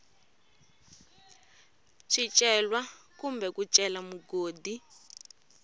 swicelwa kumbe ku cela mugodi